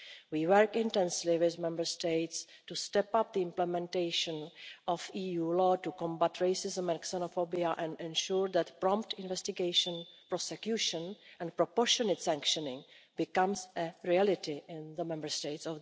We are working intensively with Member States to step up the implementation of EU law to combat racism and xenophobia and to ensure that prompt investigation, prosecution and proportionate sanctioning become a reality in the EU Member States.